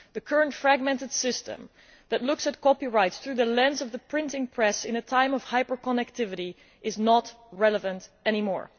The current, fragmented system that looks at copyright through the lens of the printing press in a time of hyper connectivity is not relevant any more.